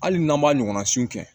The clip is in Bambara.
Hali n'an m'a ɲɔgɔnna sun kɛ